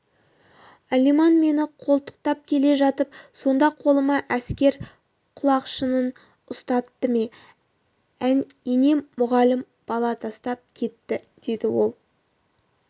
алиман мені қолтықтап келе жатып сонда қолыма әскер құлақшынын ұстатты мә ене мұғалім бала тастап кетті деді ол